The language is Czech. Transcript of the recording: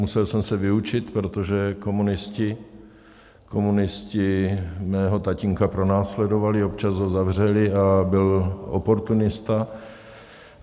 Musel jsem se vyučit, protože komunisté mého tatínka pronásledovali, občas ho zavřeli a byl oportunista.